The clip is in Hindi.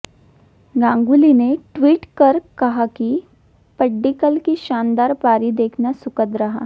गांगुली ने ट्वीट कर कहा कि पड्डीकल की शानदार पारी देखना सुखद रहा